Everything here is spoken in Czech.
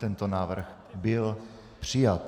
Tento návrh byl přijat.